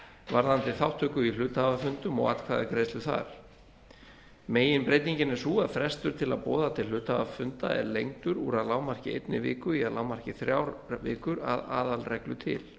varðandi þátttöku í hluthafafundum og atkvæðagreiðslu þar meginbreytingin er sú að frestur til að boða til hluthafafunda er lengdur úr að lágmarki einni viku í að lágmarki þrjár vikur að aðalreglu til